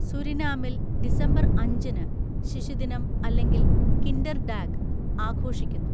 സുരിനാമിൽ December അഞ്ചിന് ശിശുദിനം അല്ലെങ്കിൽ കിൻഡർഡാഗ് ആഘോഷിക്കുന്നു.